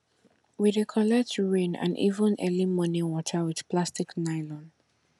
we dey collect rain and even early morning water with plastic nylon